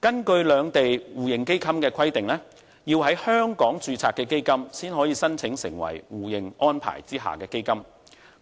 根據兩地互認基金的規定，基金必須在香港註冊才可以申請成為互認安排下的基金，這